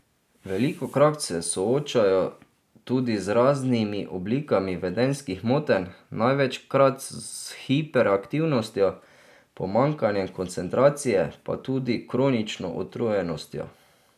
Velikokrat se soočajo tudi z raznimi oblikami vedenjskih motenj, največkrat s hiperaktivnostjo, pomanjkanjem koncentracije pa tudi kronično utrujenostjo.